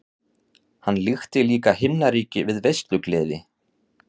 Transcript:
Hann líkti líka himnaríki við veislugleði.